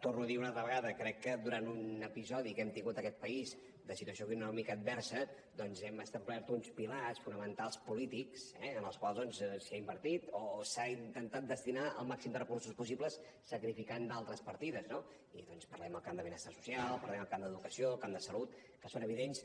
torno a dir ho una altra vegada crec que durant un episodi que hem tingut en aquest país de situació econòmica adversa doncs hem establert uns pilars fonamentals polítics eh en els quals s’ha invertit o s’ha intentat destinar el màxim de recursos possibles sacrificant d’altres partides no i parlem del camp de benestar social parlem del camp d’educació del camp de salut que són evidents